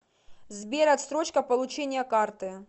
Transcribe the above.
сбер отсрочка получения карты